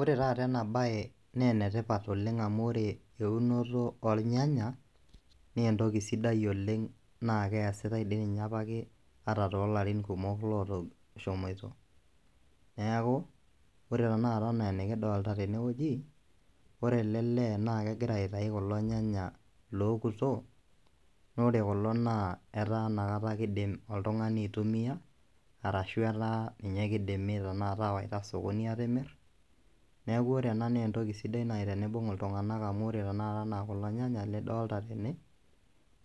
Ore taata ena bae naa enetipat oleng amu ore eunoto ornyanya naa entoki siai oleng naa kesitae dii ninye apake ata tolarin kumok oshomoito . Neaku ore tenakata anaa enikidolta tene wueji, ore ele lee naa kegira aitayu irnyanya lokuto naa ore kulo naa etaa inakata kidim oltungani aitumia arashu etaa ninye tenakata awaita sokoni. Niaku ore ena naa entoki sidai tenibung iltunganak oleng amu ore tenakata anaa kulo nyanya lidolta tene